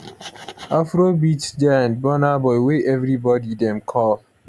afrobeats giant burna boy wey evri body dem call